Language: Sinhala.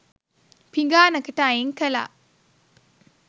පිඟානකට අයින් කළා